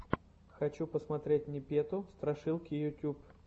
хочу посмотреть непету страшилки ютьюб